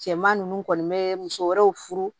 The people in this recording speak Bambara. Cɛman ninnu kɔni bɛ muso wɛrɛw furu